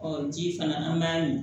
Ɔ ji fana an b'a ɲi